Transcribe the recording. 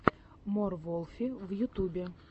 мор волфи в ютубе